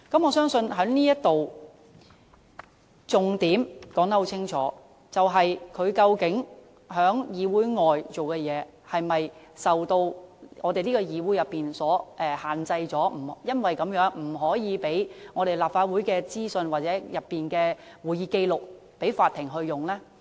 我相信這裏已清楚說出重點，就是究竟他在議會外所做的事情，是否受到本會所限制，因而不能提供立法會資訊或會議紀要給法庭使用呢？